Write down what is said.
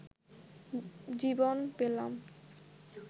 জীবন পেলাম